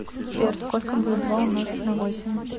сбер сколько будет два умножить на восемь